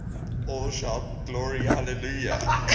all shout glory hallelujah